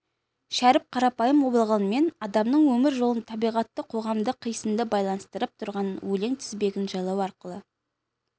шәріп қарапайым болғанмен адамның өмір жолын табиғатты қоғамды қисынды байланыстырып тұрған өлең тізбегін жайлау арқылы